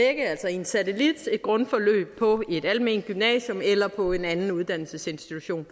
en satellit et grundforløb på et alment gymnasium eller på en anden uddannelsesinstitution